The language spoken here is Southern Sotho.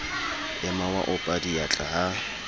ema wa opa diatla ha